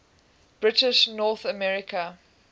british north american